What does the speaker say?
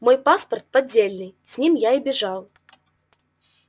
мой паспорт поддельный с ним я и бежал